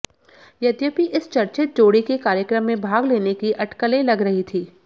यद्यपि इस चर्चित जोड़ी के कार्यक्रम में भाग लेने की अटकलें लग रही थीं